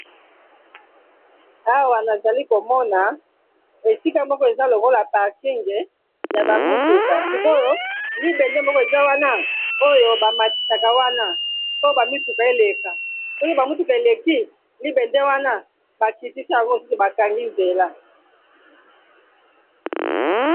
Awa nazali komona esika moko eza lokola parking ya ba mutuka sikoyo libende moko eza wana oyo bamatisaka wana po ba mituka eleka soki ba mutuka eleki libende wana bakitisaka mosusu bakangi nzela.